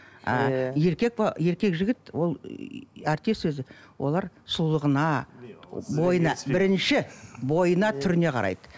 ы еркек пе еркек жігіт ол артист өзі олар сұлулығына бойына бірінші бойына түріне қарайды